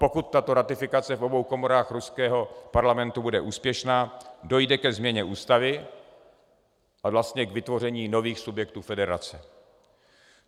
Pokud tato ratifikace v obou komorách ruského parlamentu bude úspěšná, dojde ke změně ústavy a vlastně k vytvoření nových subjektů federace.